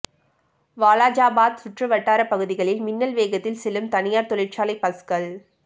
வாலாஜாபாத் சுற்று வட்டார பகுதிகளில் மின்னல் வேகத்தில் செல்லும் தனியார் தொழிற்சாலை பஸ்கள்